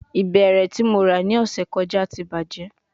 Ibẹrẹ ti Mo ra ni ọsẹ to kọja ti bajẹ